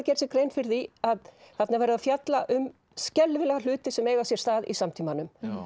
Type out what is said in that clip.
gera sér grein fyrir því að þarna er verið að fjalla um skelfilega hluti sem eiga sér stað í samtímanum